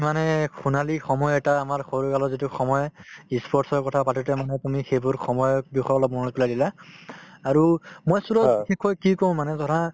উম, মানে সোনালী সময় এটা আমাৰ সৰু কালৰ যিটো সময় ই sports ৰ কথা পাতোতে মানে তুমি সেইবোৰ সময়ৰ বিষয়ে অলপ মনত পেলাই দিলা আৰু মই সূৰজ কি কওঁ মানে ধৰা